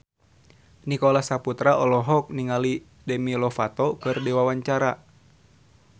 Nicholas Saputra olohok ningali Demi Lovato keur diwawancara